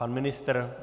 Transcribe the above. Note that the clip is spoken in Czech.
Pan ministr?